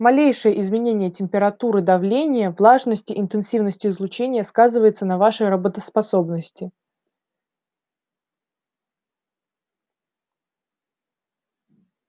малейшее изменение температуры давления влажности интенсивности излучения сказывается на вашей работоспособности